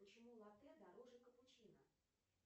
почему латте дороже капучино